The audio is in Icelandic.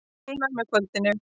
Kólnar með kvöldinu